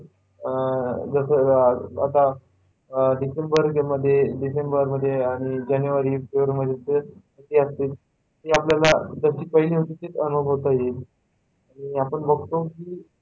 जसं आता डिसेंबर मध्ये डिसेंबर मध्ये आणि जानेवारी मध्ये दोन महिन्यात थंडी असते, ती आपल्याला जशी पहिली होती तशीच अनुभवता येईल आणि आपण बघतो की,